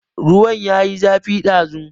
Ruwan ya yi zafi sosai ɗazu.